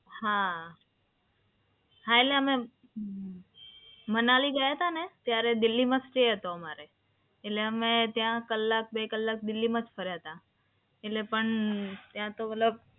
હા, હા એટલે અ ઉહ મનાલી ગયા હતા ને? ત્યારે દિલ્હીમાં સ્ટે હતો અમારે એટલે અમે કલાક બે કલાક દિલ્હીમાં જ ફર્યા હતા. એટલે પણ ત્યાં તો મતલબ